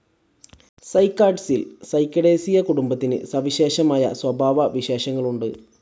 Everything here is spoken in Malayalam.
സൈക്കാഡ്സിൽ സൈക്കഡേസിയേ കുടുംബത്തിന് സവിശേഷമായ സ്വഭാവവിശേഷങ്ങളുണ്ട്.